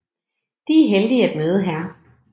De er heldige at møde hr